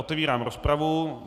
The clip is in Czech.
Otevírám rozpravu.